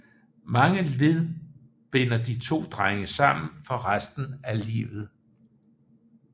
Mange led binder de to drenge sammen for resten af livet